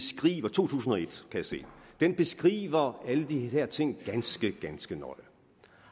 to tusind og et jeg se den beskriver alle de her ting ganske ganske nøje